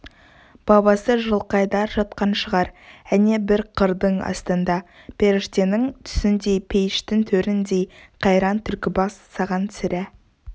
бабасы жылқайдар жатқан шығар әне бір қырдың астында періштенің түсіндей пейіштің төріндей қайран түлкібас саған сірә